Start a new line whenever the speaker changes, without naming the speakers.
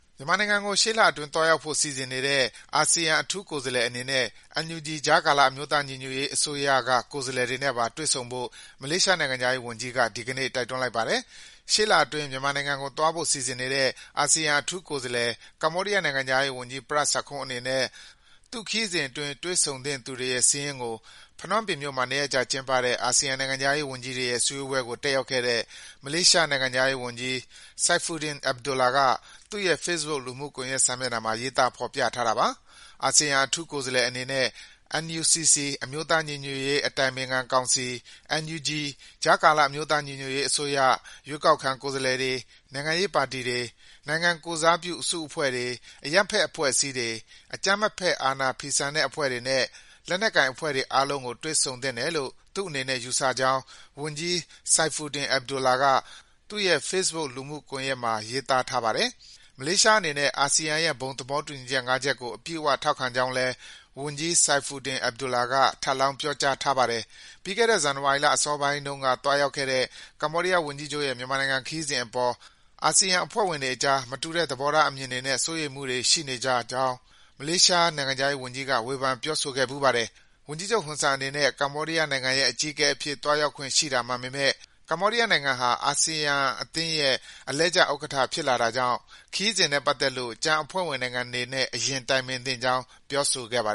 မြန်မာနိုင်ငံကို ရှေ့လအတွင်းသွားရောက်ဖို့ စီစဉ်နေတဲ့ အာဆီယံ အထူးကိုယ်စားလှယ်အနေနဲ့ ကြားကာလ အမျိုးသား ညီညွတ်ရေးအစိုးရ (NUG) ကိုယ်စားလှယ်တွေနဲ့ပါ တွေ့ဆုံဖို့ မလေးရှားနိုင်ငံခြားရေးဝန်ကြီးက ဒီကနေ့ တိုက်တွန်းလိုက်ပါတယ်။ ရှေ့လအတွင်း မြန်မာနိုင်ငံကိုသွားဖို့ စီစဉ်နေတဲ့ အာဆီယံ အထူးကိုယ်စားလှယ်ဖြစ်တဲ့ ကမ္ဘောဒီးယား နိုင်ငံခြားရေးဝန်ကြီး Prat Sakhonn အနေနဲ့ သူ့ခရီးစဉ်အတွင်း တွေ့ဆုံသင့်သူတွေစာရင်းကို ဖနွမ်းပင်မြို့မှာ ၂ ရက်ကြာကျင်းပတဲ့ အာဆီယံ နိုင်ငံခြားရေးဝန်ကြီးတွေရဲ့ စည်းဝေးပွဲကို တက်ရောက်ခဲ့တဲ့ မလေးရှားနိုင်ငံခြားရေးဝန်ကြီး Saifuddin Abdullah က သူ့ရဲ့ Facebook လူမှုကွန်ယက် စာမျက်နှာမှာ ရေးသား ဖော်ပြထားတာပါ။ အာဆီယံ အထူးကိုယ်စားလှယ်အနေနဲ့ NUCC - အမျိုးသားညီညွတ်ရေး အတိုင်ပင်ခံကောင်စီ၊ NUG - ကြားကာလ အမျိုးသားညီညွတ်ရေးအစိုးရ၊ ရွေးကောက်ခံ ကိုယ်စားလှယ်တွေ၊ နိုင်ငံရေးပါတီတွေ၊ နိုင်ငံကိုယ်စားပြုတဲ့ အစုအဖွဲ့တွေ၊ အရပ်ဘက် အဖွဲ့အစည်းတွေ၊ အကြမ်းမဖက် အာဏာဖီဆန်တဲ့အဖွဲ့တွေနဲ့ လက်နက်ကိုင်အဖွဲ့တွေ အားလုံးကို တွေ့ဆုံသင့်တယ်လို့ သူ့အနေနဲ့ ယူဆကြောင်း ဝန်ကြီး Saifuddin Abdullah က သူ့ရဲ့ Facebook လူမှုကွန်ယက်မှာ ရေးသားထားပါတယ်။ မလေးရှားအနေနဲ့ အာဆီယံရဲ့ ဘုံသေဘာတူညီချက် (၅) ချက်ကို အပြည့်အဝ ထောက်ခံကြောင်းလည်း ဝန်ကြီး Saifuddin Abdullah က ထပ်လောင်း ေ ပြာကြားထားပါတယ်။ ပြီးခဲ့တဲ့ ဇန်နဝါရီလ အစောပိုင်းတုန်းက သွားရောက်ခဲ့တဲ့ ကမ္ဘောဒီးယားဝန်ကြီးချုပ်ရဲ့ မြန်မာနိုင်ငံခရီးစဉ်အပေါ် အာဆီယံ အဖွဲ့ဝင်တွေကြား မတူတဲ့ သဘောထားအမြင်တွေနဲ့ စိုးရိမ်မှုတွေ ရှိနေကြကြောင်း မလေးရှား နိုင်ငံခြားရေးဝန်ကြီးက ဝေဖန် ပြောဆိုခဲ့ဖူးပါတယ်။ ဝန်ကြီးချုပ် ဟွန်ဆန်အနေနဲ့ ကမ္ဘောဒီးယားနိုင်ငံရဲ့ အကြီးအကဲအဖြစ် သွားရောက်ခွင့် ရှိတာမှန်ပေမယ့် ကမ္ဘောဒီးယား နိုင်ငံဟာ အာဆီယံအသင်းရဲ့ အလှည့်ကျဥက္ကဋ္ဌ ဖြစ်လာတာကြောင့် ခရီးစဉ်နဲ့ပတ်သက်လို့ ကျန်အဖွဲ့ဝင် နိုင်ငံတွေနဲ့ အရင်တိုင်ပင်သင့်ကြောင်း ပြောဆိုခဲ့တာပါ